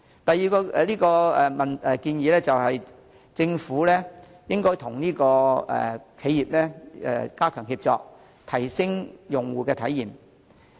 第二，政府應該與企業加強協作，提升用戶體驗。